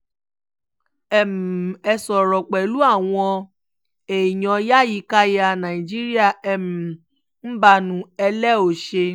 um ẹ ṣọ̀rẹ́ pẹ̀lú àwọn èèyàn yàyíkáyà náíjíríà um mbanú ẹ̀ lẹ ò ṣe